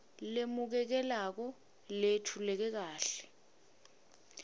lemukelekako leyetfuleke kahle